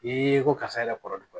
I ko karisa yɛrɛ kɔrɔ